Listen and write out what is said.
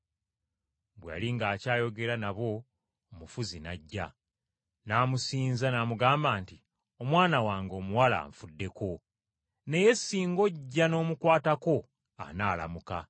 Bwe yali ng’akyayogera nabo omufuzi n’ajja, n’amusinza n’amugamba nti, “Omwana wange omuwala anfuddeko, naye singa ojja n’omukwatako anaalamuka.”